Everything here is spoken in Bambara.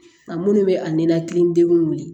A minnu bɛ a ninakili degun wuli